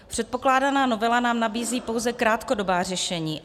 Předkládaná novela nám nabízí pouze krátkodobá řešení.